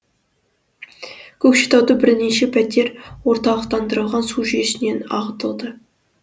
көкшетауда бірнеше пәтер орталықтандырылған су жүйесінен ағытылды